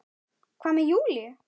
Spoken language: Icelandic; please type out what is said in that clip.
Hvað með Júlíu?